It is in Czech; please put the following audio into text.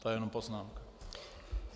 To je jenom poznámka.